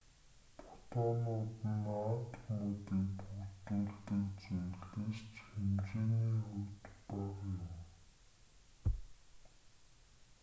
фотонууд нь атомуудыг бүрдүүлдэг зүйлээс ч хэмжээний хувьд бага юм